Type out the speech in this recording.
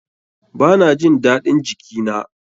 Ba na jin daɗin jiki na.